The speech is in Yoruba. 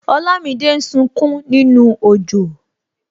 Olamide ń sunkún nínú ojo